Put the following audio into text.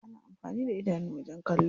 Ana amfani da idanu wajen kallo.